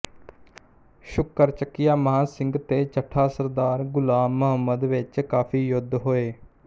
ਸ਼ੁਕਰਚੱਕੀਆ ਮਹਾਂ ਸਿੰਘ ਤੇ ਚੱਠਾ ਸਰਦਾਰ ਗ਼ੁਲਾਮ ਮੁਹੰਮਦ ਵਿੱਚ ਕਾਫੀ ਯੁੱਧ ਹੋਏ